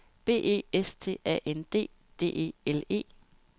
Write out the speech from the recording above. B E S T A N D D E L E